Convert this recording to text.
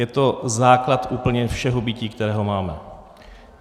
Je to základ úplně všeho bytí, které máme.